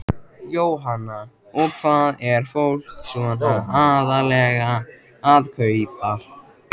Jóhanna: Og hvað er fólk svona aðallega að kaupa?